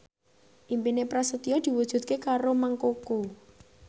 impine Prasetyo diwujudke karo Mang Koko